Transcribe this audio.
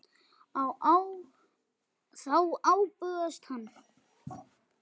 Þá bugast hann.